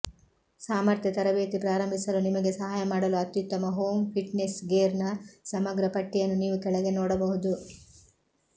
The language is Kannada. ಸಾಮರ್ಥ್ಯ ತರಬೇತಿ ಪ್ರಾರಂಭಿಸಲು ನಿಮಗೆ ಸಹಾಯ ಮಾಡಲು ಅತ್ಯುತ್ತಮ ಹೋಮ್ ಫಿಟ್ನೆಸ್ ಗೇರ್ನ ಸಮಗ್ರ ಪಟ್ಟಿಯನ್ನು ನೀವು ಕೆಳಗೆ ನೋಡಬಹುದು